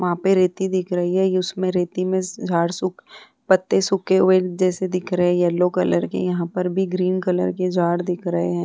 वहां पे रेती दिख रही है उस मैं रेती मैं झाड सुख पत्ते सूखे हुए जैसे दिख रहे है येलो कलर के यहाँ पर भी ग्रीन कलर के झाड़ दिख रहे है ।